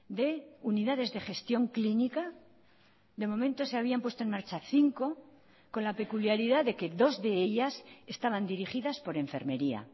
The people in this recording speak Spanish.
de unidades de gestión clínica de momento se habían puesto en marcha cinco con la peculiaridad de que dos de ellas estaban dirigidas por enfermería